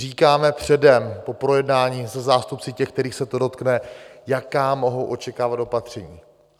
Říkáme předem po projednání se zástupci těch, kterých se to dotkne, jaká mohou očekávat opatření.